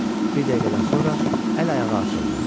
Bir dəqiqədən sonra əl-ayağı açıldı.